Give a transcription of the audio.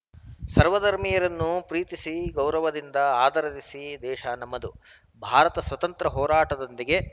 ಸರ್ವಧರ್ಮೀಯರನ್ನು ಪ್ರೀತಿಸಿ ಗೌರವದಿಂದ ಆದರರಿಸಿದ ದೇಶ ನಮ್ಮದು ಭಾರತ ಸ್ವಾತಂತ್ರ್ಯ ಹೋರಾಟದೊಂದಿಗೆ